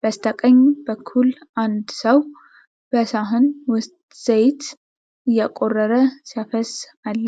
በስተቀኝ በኩል አንድ ሰው በሳህን ውስጥ ዘይት እያቆረቆረ ሲያፈስስ አለ።